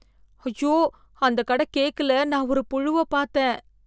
ஐயோ! அந்த கடக் கேக்கல நான் ஒரு புழுவப் பாத்தேன்